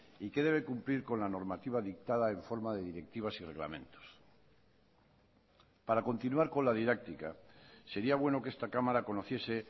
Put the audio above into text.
y que debe cumplir con la normativa dictada en forma de directivas y reglamentos para continuar con la didáctica sería bueno que esta cámara conociese